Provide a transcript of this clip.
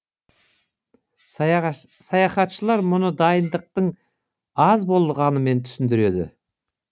саяхатшылар мұны дайындықтың аз болғанымен түсіндіреді